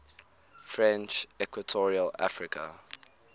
french equatorial africa